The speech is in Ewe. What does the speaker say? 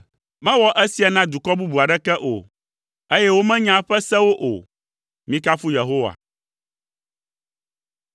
Mewɔ esia na dukɔ bubu aɖeke o, eye womenya eƒe sewo o. Mikafu Yehowa.